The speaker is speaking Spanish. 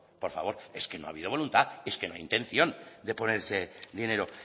por favor es que no ha habido voluntad es que no hay intención de poner ese dinero